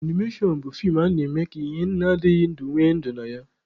Animashọn bụ fii a na-eme ka ihe adịghị ndụ nwee ndụ na ya.